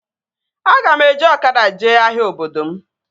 Aga m eji ọkada jee ahịa obodo m